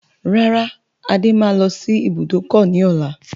Rárá, Adé máa lọ sí ibùdókọ̀ ni ọ̀la.